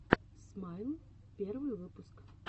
смайл первый выпуск